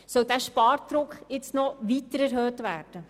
Soll dieser Spardruck noch verstärkt werden?